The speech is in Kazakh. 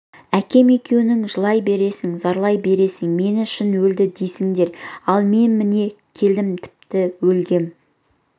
әкем екеуің жылай бересің зарлай бересің мені шын өлді деймісіңдер ал мен міне келдім тіпті өлгем